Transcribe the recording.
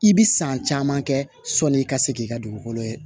I bi san caman kɛ sɔni i ka se k'i ka dugukolo ye